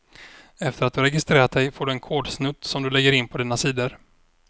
Efter att du registrerat dig får du en kodsnutt som du lägger in på dina sidor.